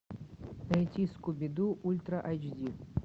найти скуби ду ультра эйч ди